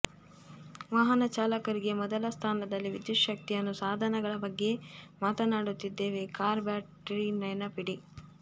ವಾಹನ ಚಾಲಕರಿಗೆ ಮೊದಲ ಸ್ಥಾನದಲ್ಲಿ ವಿದ್ಯುತ್ ಶಕ್ತಿಯನ್ನು ಸಾಧನಗಳ ಬಗ್ಗೆ ಮಾತನಾಡುತ್ತಿದ್ದೇವೆ ಕಾರ್ ಬ್ಯಾಟರಿ ನೆನಪಿಡಿ